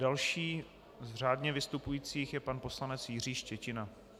Další z řádně vystupujících je pan poslanec Jiří Štětina.